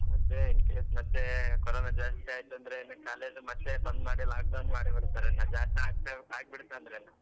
ಅದೇ in case ಮತ್ತೆ corona ಜಾಸ್ತಿ ಆಯ್ತಂದ್ರೆ college ಮತ್ತೆ ಬಂದ್ ಮಾಡಿ lockdown ಮಾಡಿ ಬಿಡ್ತಾರೆ lockdown ಆಗ್ಬಿಡ್ತನಂದ್ರೆ.